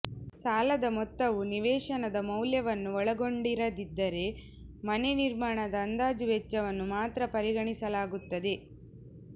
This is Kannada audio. ಸಾಲದ ಮೊತ್ತವು ನಿವೇಶನದ ವೌಲ್ಯವನ್ನು ಒಳಗೊಂಡಿರದಿದ್ದರೆ ಮನೆ ನಿರ್ಮಾಣದ ಅಂದಾಜು ವೆಚ್ಚವನ್ನು ಮಾತ್ರ ಪರಿಗಣಿಸಲಾಗುತ್ತದೆ